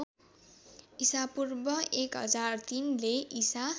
ईपू १००३ ले ईसा